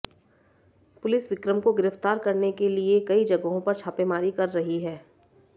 police Vikram को गिरफ्तार करने के लिए कई जगहों पर छापेमारी कर रही है